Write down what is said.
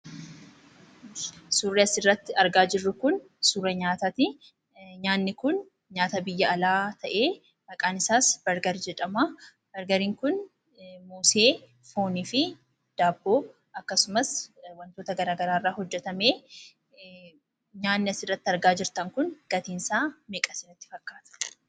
Suurri asirratti argaa jirru kun suura nyaataati. Nyaatni kun nyaata biyya alaa ta'ee maqaan isaas 'bargarii' jedhama. 'Bargarii'n kun mosee, foonii fi daabboo akkasumas, wantoota garaa garaa irraa hojjetamee. Nyaatni asirratti argaa jirtan kun gatiin isaa meeqa isinitti fakkaata?